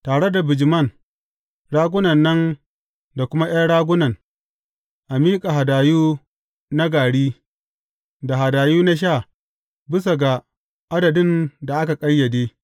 Tare da bijiman, ragunan da kuma ’yan ragunan, a miƙa hadayu na gari, da hadayu na sha bisa ga adadin da aka ƙayyade.